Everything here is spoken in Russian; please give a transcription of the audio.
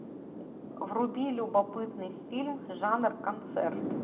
вруби любопытный фильм жанр концерт